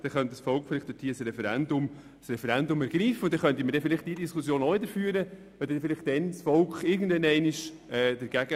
Dann könnte das Volk ein Referendum ergreifen und wir könnten diese Diskussion dann vielleicht auch wieder führen.